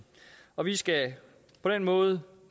og vi skal på den måde